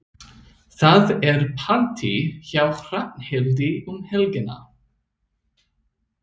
Það er partí hjá Hrafnhildi um helgina.